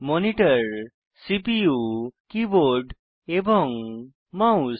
monitor CPU keyboard এবং mouse